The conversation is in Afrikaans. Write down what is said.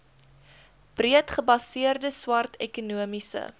breedgebaseerde swart ekonomiese